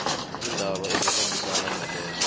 iindaba ezikhambisana nalezo